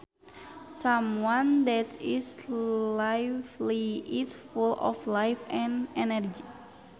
Someone that is lively is full of life and energy